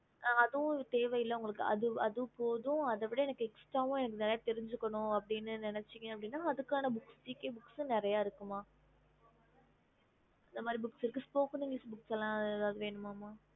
அதுவோம் தேவையில்ல உங்களுக்கு அது போதும் அதுவும் இல்லம நல்ல தெரிஞ்சிக்கணும் அப்படினா நெனச்சிங்க அப்டின அதுக்கான நேரிய books இருக்குமா okay okey mam spoken english book இருக்குமா